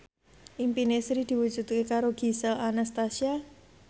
impine Sri diwujudke karo Gisel Anastasia